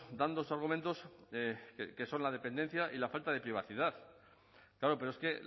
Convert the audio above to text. dan dos argumentos que son la dependencia y la falta de privacidad claro pero es que